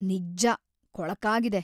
ನಿಜ್ಜ ಕೊಳಕಾಗಿದೆ.